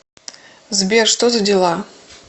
сбер что за дела